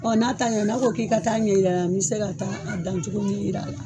Ɔ n'a t'a ɲɛ n'a ko k'i ka taa ɲɛ jira, n bɛ se ka taa dan cogo ɲɛ jir'a la.